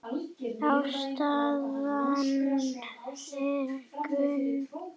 Ástæðan er kunn.